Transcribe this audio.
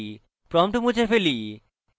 prompt মুছে ফেলি